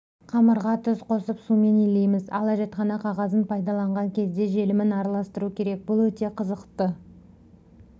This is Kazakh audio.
қамырға тұз қосып сумен илейміз ал әжетхана қағазын пайдаланған кезде желімін араластыру керек бұл өте қызықты